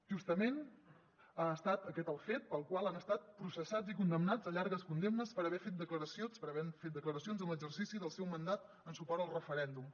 justament ha estat aquest el fet pel qual han estat processats i condemnats a llargues condemnes per haver fet declaracions per haver fet declaracions en l’exercici del seu mandat en suport al referèndum